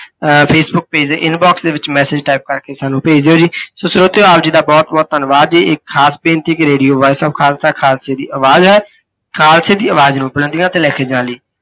ਅਹ Facebook page ਦੇ inbox ਦੇ ਵਿੱਚ message type ਕਰਕੇ ਸਾਨੂੰ ਭੇਜ ਦਿਓ ਜੀ। ਸੋ ਸਰੋਤਿਓਂ ਆਪ ਜੀ ਦਾ ਬਹੁਤ ਬਹੁਤ ਧੰਨਵਾਦ ਜੀ, ਇੱਕ ਖਾਸ ਬੇਨਤੀ ਕਿ radio voice of ਖਾਲਸਾ, ਖਾਲਸੇ ਦੀ ਅਵਾਜ਼ ਹੈ। ਖਾਲਸੇ ਦੀ ਅਵਾਜ਼ ਨੂੰ ਬੁਲੰਦੀਆਂ ਤੇ ਲੈਕੇ ਜਾਣ ਲਈ l